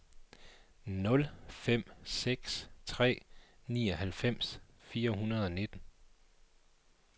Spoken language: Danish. nul fem seks tre nioghalvfems fire hundrede og nitten